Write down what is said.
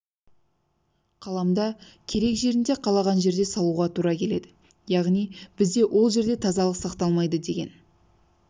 қаламда керек жерінде қалаған жерде салуға туралы келеді яғни бізде ол жерде тазалық сақталмайды деген